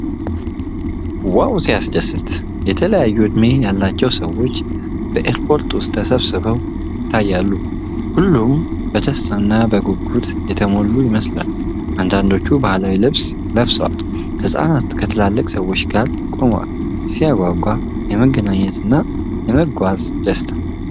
ዋው ሲያስደስት! የተለያዩ ዕድሜ ያላቸው ሰዎች በኤርፖርት ውስጥ ተሰብስበው ይታያሉ። ሁሉም በደስታና በጉጉት የተሞሉ ይመስላል። አንዳንዶቹ ባህላዊ ልብስ ለብሰዋል። ህጻናትም ከትላልቅ ሰዎች ጋር ቆመዋል። ሲያጓጓ! የመገናኘትና የመጓዝ ደስታ!